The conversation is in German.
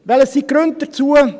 Welches sind die Gründe hierfür?